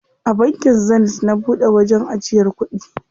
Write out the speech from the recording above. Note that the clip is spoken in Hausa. A bankin Zenith na buɗe wajen ajiyar kuɗi.